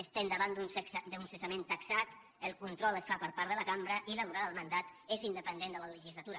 estem davant d’un cessament taxat el control es fa per part de la cambra i la durada del mandat és independent de la legislatura